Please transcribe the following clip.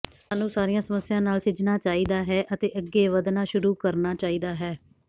ਸਾਨੂੰ ਸਾਰੀਆਂ ਸਮੱਸਿਆਵਾਂ ਨਾਲ ਸਿੱਝਣਾ ਚਾਹੀਦਾ ਹੈ ਅਤੇ ਅੱਗੇ ਵਧਣਾ ਸ਼ੁਰੂ ਕਰਨਾ ਚਾਹੀਦਾ ਹੈ